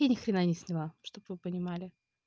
я ни хрена не сняла чтоб вы понимали